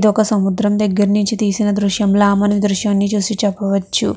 ఇదొక సముద్రం దగ్గర తీసిన దృశ్యంలా మనము ఈ దృశ్యాన్ని చూసి చెప్పవచ్చు.